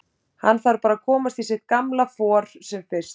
Hann þarf bara að komast í sitt gamla for sem fyrst.